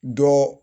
Dɔ